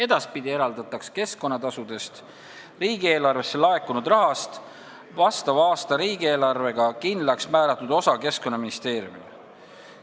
Edaspidi eraldataks keskkonnatasudena riigieelarvesse laekunud rahast vastava aasta riigieelarvega kindlaks määratud osa Keskkonnaministeeriumile.